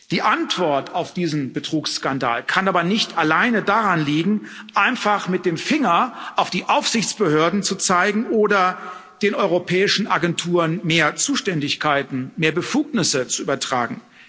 Die Antwort auf diesen Betrugsskandal kann aber nicht alleine darin liegen, einfach mit dem Finger auf die Aufsichtsbehörden zu zeigen oder den europäischen Agenturen mehr Zuständigkeiten, mehr Befugnisse zu übertragen.